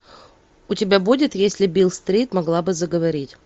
у тебя будет если бил стрит могла бы заговорить